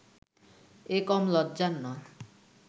এ কম লজ্জার নয়